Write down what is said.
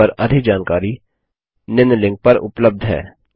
इस पर अधिक जानकारी निम्न लिंक पर उपलब्ध है